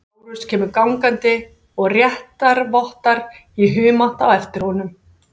Lárus kemur gangandi og réttarvottar í humátt á eftir honum.